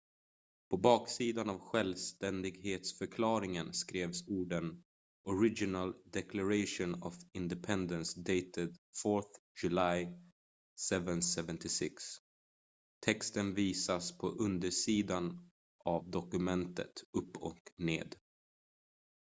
"på baksidan av självständighetsförklaringen skrevs orden "original declaration of independence dated 4th july 1776"". texten visas på undersidan av dokumentet upp och ned.